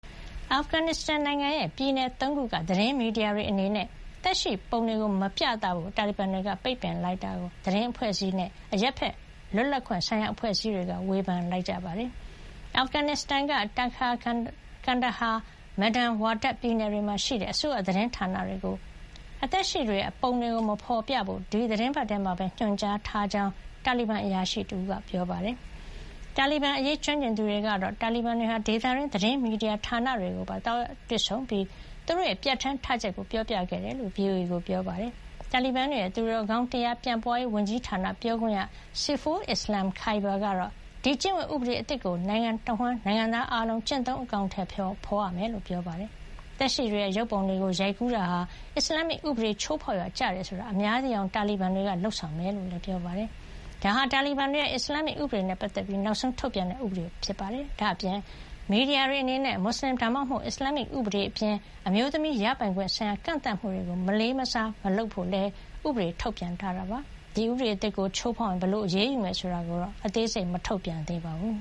အာဖဂန်နစ္စတန်နိုင်ငံရဲ့ ပြည်နယ်သုံးခုက သတင်းမီဒီယာတွေအနေနဲ့ သက်ရှိပုံတွေမပြသဖို့ တာလီဘန်တွေပိတ်ပင်လိုက်တာကို သတင်းအဖွဲ့အစည်းတွေနဲ့ အရပ်ဘက် လွတ်လပ်ခွင့်ဆိုင်ရာ အဖွဲ့အစည်းတွေက ဝေဖန်ခဲ့ကြပါတယ်။ အာဖဂန်နစ်စတန်က Takhar ၊ Kandahar နဲ့ မေဒန်ဝါဒတ် ပြည်နယ်တွေမှာရှိတဲ့ အစိုးရသတင်းဌာန တွေကို အသက်ရှိတွေရဲ့ ပုံတွေမဖေါ်ပြဖို့ ဒီသီတင်းပတ်ထဲမှာပဲ ညွှန်ကြားထားကြောင်း တာလီဘန် အရာရှိတဦးက ပြောပါတယ်။ တာလီဘန်အရေးကျွမ်းကျင်သူတွေကတော့ တာလီဘန်တွေဟာ ဒေသတွင်းသတင်းမီဒီယာဌာနတွေကိုပါ သွားရောက်တွေ့ဆုံပြီး သူတို့ရဲ့ ပြဌာန်းထားချက်ကို ပြောပြခဲ့တယ်လို့ VOA ကို ပြောပါတယ်။ တာလီဘန်တွေရဲ့ သူတော်ကောင်းတရားပြန့်ပွါးရေး ဝန်ကြီးဌာနပြောခွင့်ရ Saiful Islam Khyber ကတော့ ဒီကျင့်ဝတ် ဥပဒေအသစ်ကို နိုင်ငံတဝှမ်းက နိုင်ငံသားအားလုံး ကျင့်သုံးအကောင်ထည် ဖေါ်ရမှာ ဖြစ်ကြောင်းပြောပါတယ်။ သက်ရှိတွေရဲ့ ရုပ်ပုံတွေကိုရိုက်ကူးတာဟာ အစ္စလာမ်မစ်ဥပဒေကို ချိုးဖေါက်ရာကျတယ်ဆိုတာ အများသိအောင် တာလီဘန်တွေကလုပ်ဆောင်မှာ ဖြစ်ကြောင်းလည်း ပြောပါတယ်။ ဒါဟာ တာလီဘန်တွေရဲ့ အစ္စလာမ်မစ်ဥပဒေနဲ့ပတ်သက်ပြီး နောက်ဆုံးထုတ်ပြန်တဲ့ ဥပဒေလည်း ဖြစ်ပါတယ်။ ဒါ့အပြင် မီဒီယာတွေအနေနဲ့ မွတ်ဆလင် ဒါမှမဟုတ် အစ္စလာမ်မစ်ဥပဒေအပြင် အမျိုးသမီးရပိုင်ခွင့် ဆိုင်ရာကန့်သတ်မှုတွေကို မလေးမစားမလုပ်ဖို့လည်း ဥပဒေထုတ်ပြန်ထားတာပါ။ အခု ဥပဒေသစ်ကို ချိုးဖေါက်ရင် ဘယ်လိုအရေးယူမယ်ဆိုတာကိုတော့ အသေးစိတ် မထုတ်ပြန်သေးပါဘူး